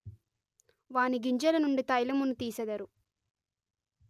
వాని గింజల నుండి తైలమును దీసెదరు